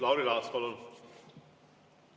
Lauri Laats, palun!